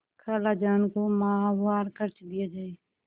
खालाजान को माहवार खर्च दिया जाय